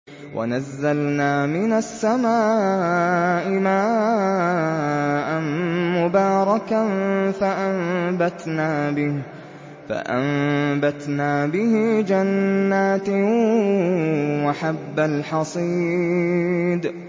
وَنَزَّلْنَا مِنَ السَّمَاءِ مَاءً مُّبَارَكًا فَأَنبَتْنَا بِهِ جَنَّاتٍ وَحَبَّ الْحَصِيدِ